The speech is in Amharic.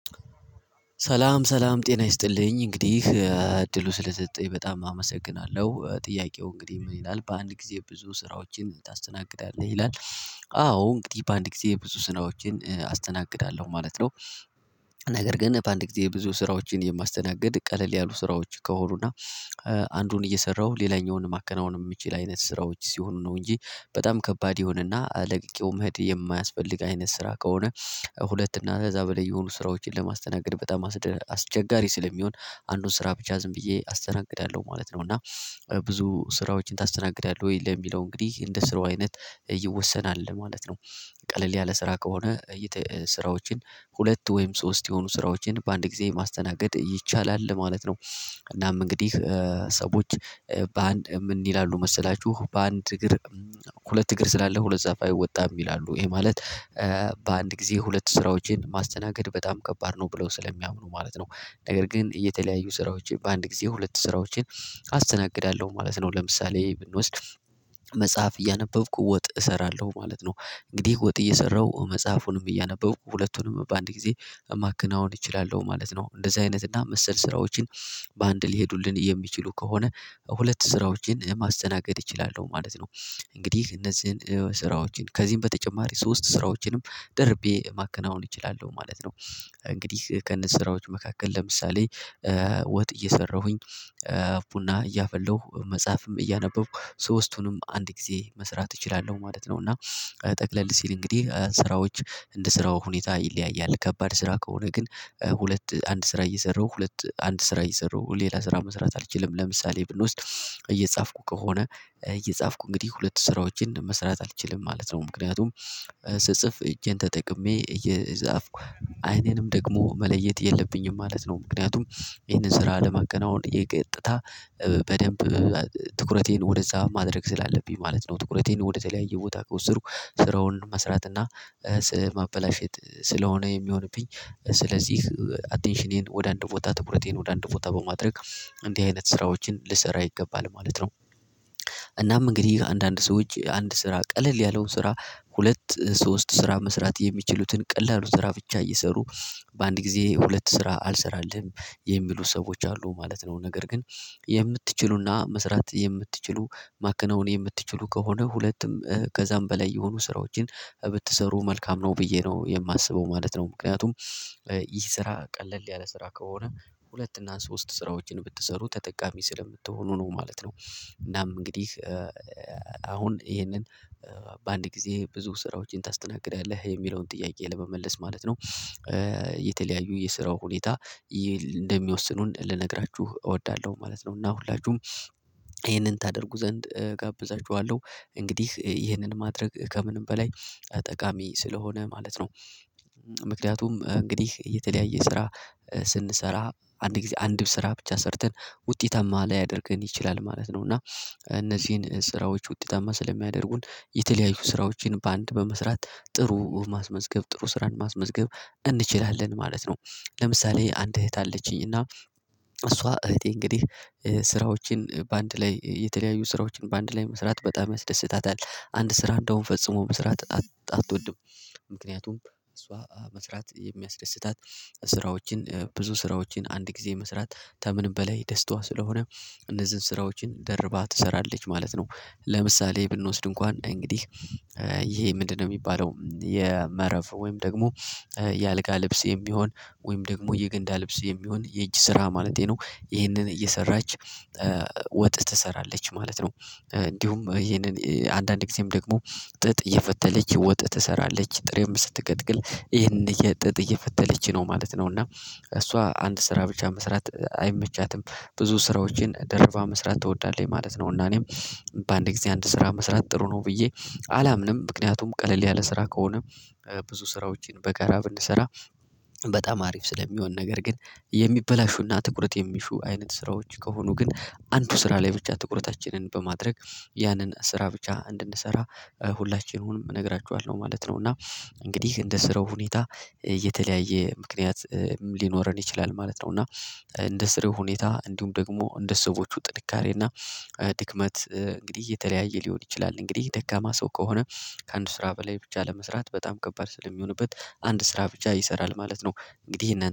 ሰላም ሰላም ጤና ይስጥልኝ። እንግዲህ እድሉ ስለሰጠኝ በጣም አመሰግናለሁ። ጥያቄው እንግዲህ ምን ይላል በአንድ ጊዜ ብዙ ስራዎችን ታስተናግዳለህ? ይላል አዎ እንግዲህ በአንድ ጊዜ ብዙ ስራዎችን አስተናግዳለሁ ማለት ነው። ነገር ግን በአንድ ጊዜ ብዙ ስራዎችን የማስተናግድ ቀለል ያሉ ስራዎች ከሆኑና አንዱን እየሰራሁ ሌላኛውን ማከናወን የምችል አይነት ስራዎች ሲሆኑ ነው እንጂ በጣም ከባድ የሆነና ለቅቄው መሄድ የማያስፈልግ አይነት ስራ ከሆነ ሁለት እና ከዛ በላይ የሆኑ ስራዎችን ለማስተናገድ በጣም አስቸጋሪ ስለሚሆን አንዱን ስራ ብቻ ዝም ብዬ አስተናግዳለሁ ማለት ነው እና ብዙ ስራዎችን ታስተናግዳለህ? ወይ ለሚለው እንግዲህ እንደ ስራው አይነት ይወሰናል ማለት ነው ቀለል ያለ ስራ ከሆነ ስራዎችን ሁለት ወይም ሶስት የሆኑ ስራዎችን በአንድ ጊዜ ማስተናገድ ይቻላል ማለት ነው እናም እንግዲህ ሰዎች በአንድ ምን ይላሉ መሰላችሁ በአንድ እግር ሁለት እግር ስላለህ ሁለት ዛፍ አይወጣም ይላሉ ይሄ ማለት በአንድ ጊዜ ሁለት ስራዎችን ማስተናገድ በጣም ከባድ ነው ብለው ስለሚያምኑ ማለት ነው። ነገር ግን የተለያዩ ስራዎችን በአንድ ጊዜ ሁለት ስራዎችን አስተናግዳለሁ ማለት ነው። ለምሳሌ ብንወስድ መጽሐፍ እያነበብኩ ወጥ እሰራለሁ ማለት ነው እንግዲህ ወጥ እየሰራሁ መጽሐፉንም እያነበብኩ ሁለቱንም በአንድ ጊዜ ማከናወን እችላለሁ ማለት ነው። እንደዚህ አይነት እና መሰል ስራዎችን በአንድ ሊሄዱልን የሚችሉ ከሆነ ሁለት ስራዎችን ለማስተናገድ እችላለሁ ማለት ነው። እንግዲህ እነዚህን ስራዎችን ከዚህም በተጨማሪ ሶስት ስራዎችንም ደርቤ ማከናወን እችላለሁ ማለት ነው። እንግዲህ ከእነዚ ስራዎቹ መካከል ለምሳሌ ወጥ እየሰራሁኝ፣ ቡና እያፈላሁ፣ መጽሐፍም እያነበብኩ ሶስቱንም አንድ ጊዜ መስራት እችላለሁ ማለት ነው እና ጠቅለል ሲል እንግዲህ ስራዎች እንደ ስራው ሁኔታ ይለያያል። ከባድ ስራ ከሆነ ግን ሁለት አንድ ስራ እየሰራው ሁለት አንድ ስራ እየሰራው ሌላ ስራ መስራት አልችልም። ለምሳሌ ብንወስድ እየጻፍኩ ከሆነ እየጻፍኩ እንግዲህ ሁለት ስራዎችን መስራት አልችልም ማለት ነው ምክንያቱም ስጽፍ እጄን ተጠቅሜ እየጻፍኩ አይኔንም ደግሞ መለየት የለብኝም ማለት ነው ምክንያቱም ይሄንን ስራ ለመከናወን እኔ ቀጥታ በደንብ ትኩረቴን ወደዛ ማድረግ ስላለብኝ ማለት ነው። ትኩረቴን ወደተለያየ ቦታ ከወሰድኩ ስራውን መስራት እና ማበላሸት ስለሆነ የሚሆንብኝ ስለዚህ አቴንሽኔን ወደ አንድ ቦታ ትኩረቴን ወደ አንድ ቦታ በማድረግ እንዲህ አይነት ስራዎችን ልሰራ ይገባል ማለት ነው። እናም እንግዲህ አንዳንድ ሰዎች አንድ ስራ ቀለል ያለውን ስራ ሁለት ሶስት ስራ መስራት የሚችሉትን ቀላሉ ስራ ብቻ እየሰሩ በአንድ ጊዜ ሁለት ስራ አልሰራልህም የሚሉ ሰዎች አሉ ማለት ነው። ነገር ግን የምትችሉና መስራት የምትችሉ ማከናወን የምትችሉ ከሆነ ሁለቱም ከዛም በላይ የሆኑ ስራዎችን ብትሰሩ መልካም ነው ብዬ ነው የማስበው ማለት ነው ምክንያቱም ይህ ስራ ቀለል ያለ ስራ ከሆነ ሁለት እና ሶስት ስራዎችን ብትሰሩ ተጠቃሚ ስለምትሆኑ ነው ማለት ነው እናም እንግዲህ አሁን ይሄንን በአንድ ጊዜ ብዙ ስራዎችን ታስተናግዳለህ የሚለውን ጥያቄ ለመመለስ ማለት ነው የተለያዩ የስራው ሁኔታ እንደሚወስኑን ልነግራችሁ እወዳለሁ ማለት ነው እና ሁላችሁም ይሄንን ታደርጉ ዘንድ እጋብዛችኋለሁ እንግዲህ ይህንን ማድረግ ከምንም በላይ ጠቃሚ ስለሆነ ማለት ነው ምክንያቱም እንግዲህ የተለያየ ስራ ስንሰራ አንድ ጊዜ አንድ ስራ ብቻ ሰርተን ውጤታማ ላያደርገን ይችላል ማለት ነው እና እነዚህን ስራዎች ውጤታማ ስለሚያደርጉን የተለያዩ ስራዎችን በአንድ በመስራት ጥሩ ማስመዝገብ ጥሩ ስራን ማስመዝገብ እንችላለን ማለት ነው ለምሳሌ አንድ እህት አለችኝ እና እሷ እህቴ እንግዲህ ስራዎችን በአንድ ላይ የተለያዩ ስራዎችን በአንድ ላይ መስራት በጣም ያስደስታታል አንድ ስራ እንደውም ፈጽሞ መስራት አትወድም ምክንያቱም እሷ መስራት የሚያስደስታት ስራዎችን ብዙ ስራዎችን አንድ ጊዜ መስራት ከምንም በላይ ደስታዋ ስለሆነ እነዚህን ስራዎችን ደርባ ትሰራለች ማለት ነው ለምሳሌ ብንወስድ እንኳን እንግዲህ ይሄ ምንድነው የሚባለው የመረፍ ወይም ደግሞ የአልጋ ልብስ የሚሆን ወይም ደግሞ የገንዳ ልብስ የሚሆን የእጅ ስራ ማለቴ ነው ይሄንን እየሰራች ወጥ ትሰራለች ማለት ነው እንዲሁም ይሄንን አንዳንድ ጊዜም ደግሞ ጥጥ እየፈተለች ወጥ ትሰራለች ጥሬም ስትቀቅል ይሄንን ጥጥ እየፈተለች ነው ማለት ነው እና እሷ አንድ ስራ ብቻ መስራት አይመቻትም ብዙ ስራዎችን ደርባ መስራት ትወዳለች ማለት ነው እና እኔም በአንድ ጊዜ አንድ ስራ መስራት ጥሩ ነው ብዬ አላምንም ምክንያቱም ቀለል ያለ ስራ ከሆነ ብዙ ስራዎችን በጋራ ብንሰራ በጣም አሪፍ ስለሚሆን ነገር ግን የሚበላሹና ትኩረት የሚሹ አይነት ስራዎች ከሆኑ ግን አንዱ ስራ ላይ ብቻ ትኩረታችንን በማድረግ ያንን ስራ ብቻ እንድንሰራ ሁላችንም እነግራችኋለሁ ማለት ነው እና እንግዲህ እንደ ስራው ሁኔታ የተለያየ ምክንያት ሊኖረን ይችላል ማለት ነው እና እንደ ስራው ሁኔታ እንዲሁም ደግሞ እንደ ሰዎች ጥንካሬና ድክመት እንግዲህ እየተለያየ ሊሆን ይችላል እንግዲህ ደካማ ሰው ከሆነ ከአንድ ስራ በላይ ብቻ ለመስራት በጣም ከባድ ስለሚሆንበት አንድ ስራ ብቻ ይሰራል ማለት ነው እንግዲህ ይሄንን